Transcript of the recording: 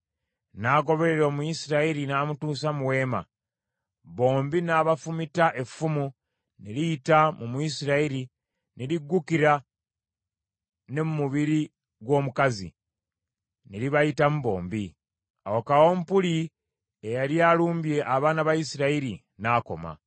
n’agoberera Omuyisirayiri n’amutuusa mu weema. Bombi n’abafumita effumu ne liyita mu Muyisirayiri ne liggukira ne mu mubiri gw’omukazi, ne libayitamu bombi. Awo kawumpuli eyali alumbye abaana ba Isirayiri n’akoma.